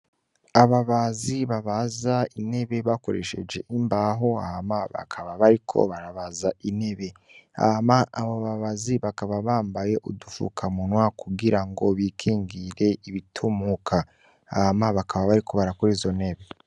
Ababazi babaza intebe bakoresheje imbaho, ama bakaba bariko barabaza inebe ama abababazi bakaba bambaye udufuka munwa kugira ngo bikingire ibitumuka, Hama bakaba bariko barakuri zonebe.